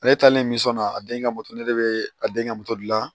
Ale taalen min sɔ na a denkɛ moto ne bɛ a den ka moto di la